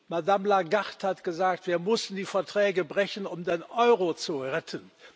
Madame Lagarde hat gesagt Wir mussten die Verträge brechen, um den Euro zu retten.